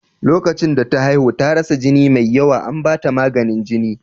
Lokacin da ta haihu, ta rasa jini mai yawa, an ba ta maganin jini.